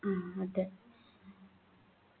ആഹ് അതെ